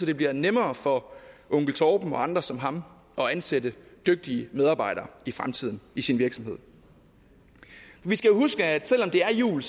det bliver nemmere for onkel torben og andre som ham at ansætte dygtige medarbejdere i fremtiden i sin virksomhed vi skal huske at selv om det er jul